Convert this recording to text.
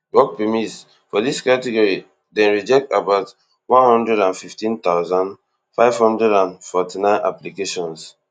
work permits for dis category dem reject about one hundred and fifteen thousand, five hundred and forty-nine applications